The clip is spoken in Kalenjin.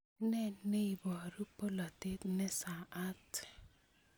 Ne neiporu polotet ne saat?